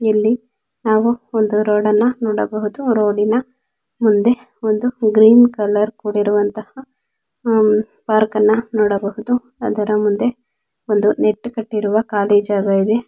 ಇಲ್ಲಿ ಯಾವ ಒಂದು ರೋಡ್ ಅನ್ನ ನೋಡಬಹುದು. ಮುಂದೆ ಒಂದು ಗ್ರೀನ್ ಕಲರ್ ಕೂಡಿರುವಂತಹ ವರ್ಕ್ ಅಣ್ಣ ನೋಡಬಹುದು ಅದರಮುಂದೆ ನೆಟ್ ಕತ್ತಿರಿವ ಕಾಳಿ ಜಾಗ ಇದೆ .